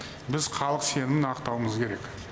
біз халық сенімін ақтауымыз керек